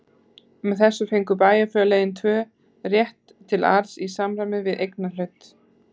Með þessu fengu bæjarfélögin tvö rétt til arðs í samræmi við eignarhlut.